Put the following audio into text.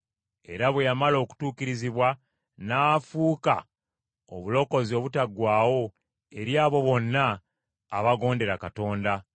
Era bwe yamala okutuukirizibwa, n’afuuka obulokozi obutaggwaawo eri abo bonna abagondera Katonda.